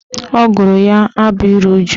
Ọ gụrụ ya abụ ịru uju